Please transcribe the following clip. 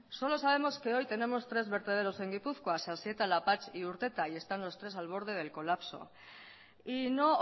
solo sabemos que hoy tenemos tres vertederos en gipuzkoa sasieta lapatx y urteta y están los tres al borde del colapso y no